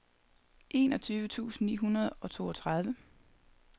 enogtyve tusind ni hundrede og toogtredive